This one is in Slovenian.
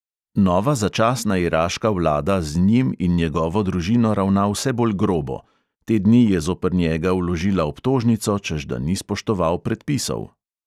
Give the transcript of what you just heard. Nova začasna iraška vlada z njim in njegovo družino ravna vse bolj grobo, te dni je zoper njega vložila obtožnico, češ da ni spoštoval predpisov.